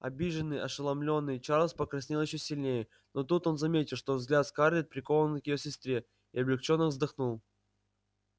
обиженный ошеломлённый чарлз покраснел ещё сильнее но тут он заметил что взгляд скарлетт прикован к её сестре и облегчённо вздохнул